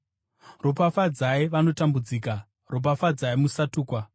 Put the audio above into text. Ropafadzai vanokutambudzai; ropafadzai musatuka.